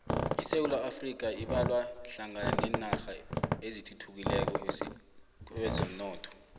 isewula afrika ibalwa hlangana nenarha ezisathuthukako kwezomnotho